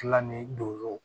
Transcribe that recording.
Tilan ni doro